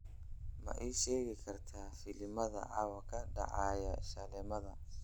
ma ii sheegi kartaa filimada caawa ka dhacaya shaleemada